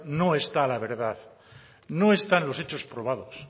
no está la verdad no están los hechos probados